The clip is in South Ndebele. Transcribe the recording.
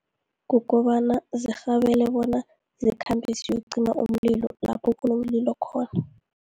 Kukobana zirhabele bona, zikhambe ziyokucima umlilo lapho kunomlilo khona.